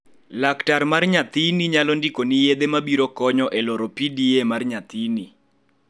Yedhe Laktar mar nyathini nyalo ndikoni yedhe mabiro konyo e loro PDA mar nyathini.